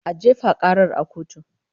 A jefa karar a kotu!